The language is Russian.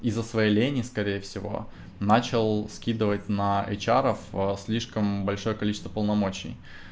из-за своей лени скорее всего начал скидывать на эйчаров слишком большое количество полномочий